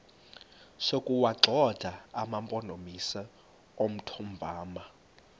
sokuwagxotha amampondomise omthonvama